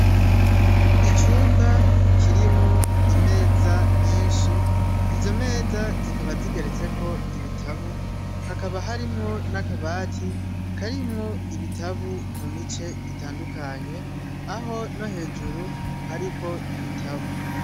Icumba kirimwo imeza nyinshi, izo meza zikaba zigeretseko ibitabu, hakaba harimwo n'akabati karimwo ibitabu mu mice itandukanye, aho no hejuru hariko ibitabu.